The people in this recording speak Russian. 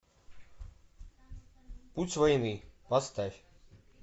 путь войны поставь